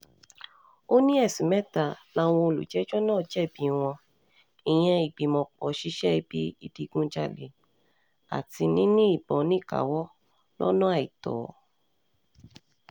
ó ní ẹ̀sùn mẹ́ta làwọn olùjẹ́jọ́ um náà jẹ̀bi wọn ìyẹn ìgbìmọ̀-pọ̀ ṣíṣe ibi ìdígunjalè àti níní ìbọn níkàáwọ́ um lọ́nà àìtọ́